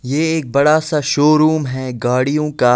ये एक बड़ा सा शोरूम है गाड़ियों का।